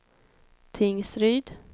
Tingsryd